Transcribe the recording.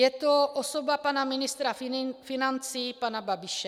Je to osoba pana ministra financí, pana Babiše.